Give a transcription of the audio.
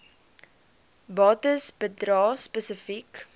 bates bedrae spesifiek